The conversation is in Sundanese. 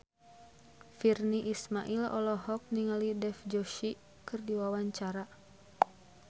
Virnie Ismail olohok ningali Dev Joshi keur diwawancara